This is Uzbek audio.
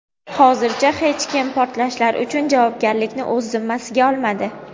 Hozircha hech kim portlashlar uchun javobgarlikni o‘z zimmasiga olmadi.